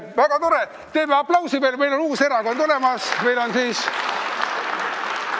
Väga tore, teeme aplausi, meil on uus erakond olemas!